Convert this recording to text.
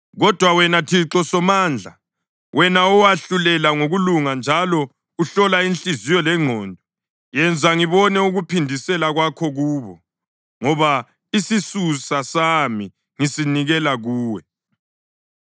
Kodwa, wena, Thixo Somandla, wena owahlulela ngokulunga njalo uhlola inhliziyo lengqondo, yenza ngibone ukuphindisela kwakho kubo, ngoba isisusa sami ngisinikela kuwe.